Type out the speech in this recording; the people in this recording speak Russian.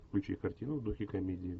включи картину в духе комедии